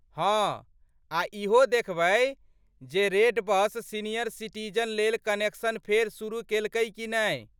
हँ, आ ईहो देखबै जे रेडबस सीनियर सिटीजन लेल कन्सेशन फेर शुरू केलकै कि नहि?